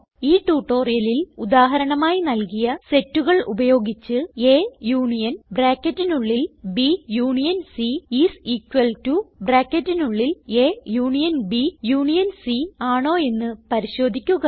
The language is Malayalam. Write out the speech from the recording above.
ഈ ട്യൂട്ടോറിയലിൽ ഉദാഹരണമായി നല്കിയ സെറ്റുകൾ ഉപയോഗിച്ച്160 A union is equal to union C ആണോ എന്ന് പരിശോധിക്കുക